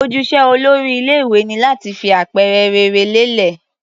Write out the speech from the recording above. Ojúṣe olórí ilé-ìwé ni láti fi àpẹẹrẹ rere lélẹ̀.